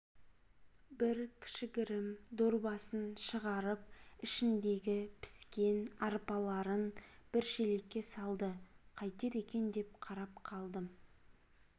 бір кішігірім дорбасын шығарып ішіндегі піскен арпаларын бір шелекке салды қайтер екен деп қарап қалдым